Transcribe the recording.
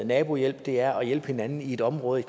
nabohjælp det er at hjælpe hinanden i et område